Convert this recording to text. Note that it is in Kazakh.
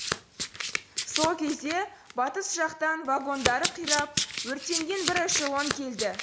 сол кезде батыс жақтан вагондары қирап өртенген бір эшелон келді